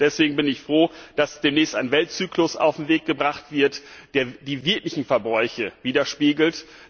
Deswegen bin ich froh, dass demnächst ein Weltzyklus auf den Weg gebracht wird, der die wirklichen Verbräuche widerspiegelt.